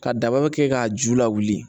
Ka daba kɛ k'a ju lawuli